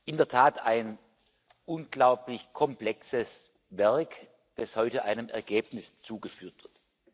In der Tat ein unglaublich komplexes Werk, das heute einem Ergebnis zugeführt wird!